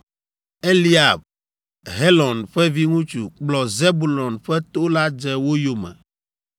Eliab, Helon ƒe viŋutsu kplɔ Zebulon ƒe to la dze wo yome.